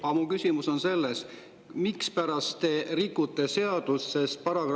Aga mu küsimus on selline: mispärast te rikute seadust?